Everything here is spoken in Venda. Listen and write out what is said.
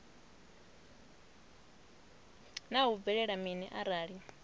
naa hu bvelela mini arali